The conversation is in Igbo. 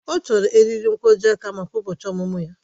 Ọ chọrọ eriri nkwojiaka maka ụbọchị ọmụmụ ya